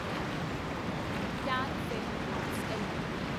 can Fin homes LTD